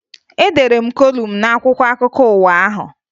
Edere m kolum n'akwụkwọ akụkọ ụwa ahụ